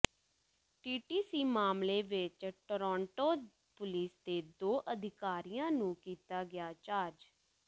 TTC ਮਾਮਲੇ ਵਿੱਚ Toronto police ਦੇ ਦੋ ਅਧਿਕਾਰੀਆਂ ਨੂੰ ਕੀਤਾ ਗਿਆ ਚਾਰਜ